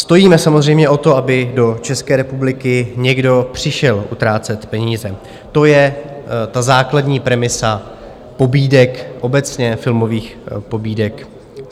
Stojíme samozřejmě o to, aby do České republiky někdo přišel utrácet peníze, to je ta základní premisa pobídek obecně, filmových pobídek.